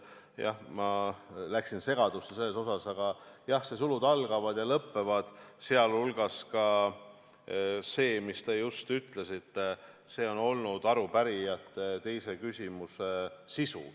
Jah, ma läksin segadusse selles asjas, aga see "sulud algavad ja lõppevad", sh see, mis te just ütlesite, on olnud arupärijate teise küsimuse sisu.